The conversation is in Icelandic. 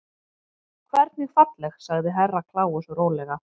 Hvernig falleg sagði Herra Kláus rólega.